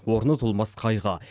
орны толмас қайғы